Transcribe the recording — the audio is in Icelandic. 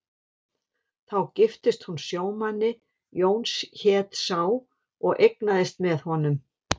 Þá giftist hún sjómanni, Jón hét sá, og eignast með honum